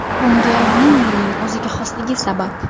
Bunga Vinnining o‘ziga xosligi sabab.